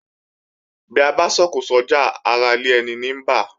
Bí abá so òkò sójà ará ilé eni ní bá